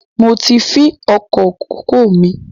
Mo ti fin oko kòkó míì